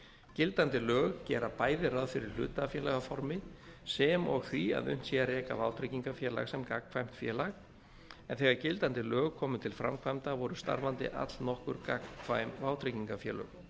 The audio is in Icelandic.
gildandi lög gera bæði ráð fyrir hlutafélagaformi sem og því að unnt sé að reka vátryggingafélag sem gagnkvæmt félag en þegar gildandi lög komu til framkvæmda voru starfandi allnokkur gagnkvæm vátryggingafélög